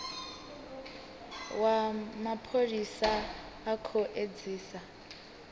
wa mapholisa u khou edzisa